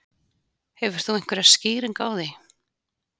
Hefur þú einhverja skýringu á því?